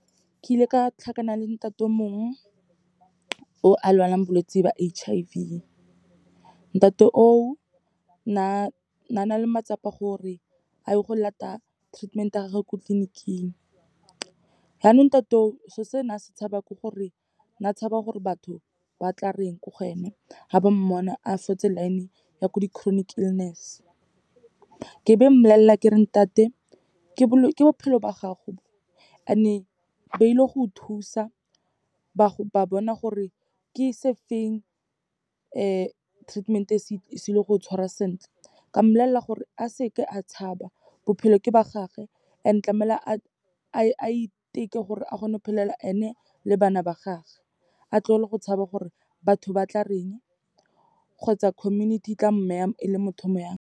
Ke ile ka tlhakana le ntate o mongwe, o a lwalang bolwetse ba H_I_V. Ntate oo, ne a na le matsapa gore a ye go lata treatment ya gage ko tleliniking. Yaanong ntate o, se'o se na se tshaba ke gore na tshaba gore batho ba tla reng ko go ene, ga ba mmona a fotse line-e ya ko di-chronic illness. Ke be mmolelela ke re, ntate ke bophelo ba gago bo and-e ba ile go go thusa, ba bona gore ke se feng treatment-e e se be go tshwara sentle. Ka mmolelela gore, a seke a tshaba, bophelo ke ba gage, and tlamehile a iteke gore a kgone go phelela ene le bana ba gage. A tlogele go tshaba gore batho ba tla reng, kgotsa community e tla e le motho o mo yang.